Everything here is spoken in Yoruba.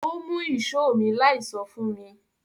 Ó mú ìṣó mi láì sọ fún mi